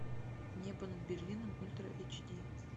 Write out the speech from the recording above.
небо над берлином ультра эйч ди